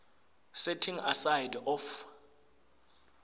setting aside of